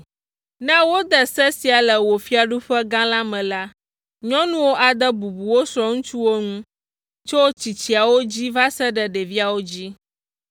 Ne wode se sia le wò fiaɖuƒe gã la me la, nyɔnuwo ade bubu wo srɔ̃ŋutsuwo ŋu tso tsitsiawo dzi va se ɖe ɖeviawo dzi.”